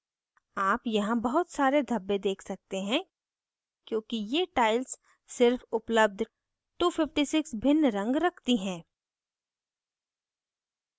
आप यहाँ बहत सारे धब्बे देख सकते हैं क्योंकि ये tile सिर्फ उपलब्ध 256 भिन्न रंग रखती हैं